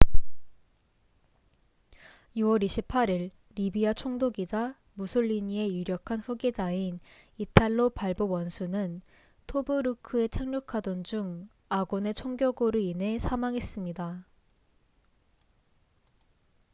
6월 28일 리비아 총독이자 무솔리니의 유력한 후계자인 이탈로 발보 원수는 토브루크에 착륙하던 중 아군의 총격으로 인해 사망했습니다